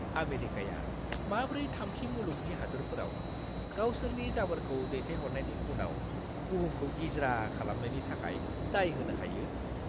आमेरिकाया माब्रै थामथि मुलुगनि हादोरफोराव गावसोरनि जाबोरखौ दैथायहरनायनि उनाव बुहुमखौ गिज्रा खालामनायनि थाखाय दाय होनो हायो!